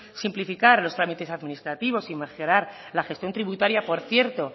simplificar los trámites administrativos y macerar la gestión tributaria por cierto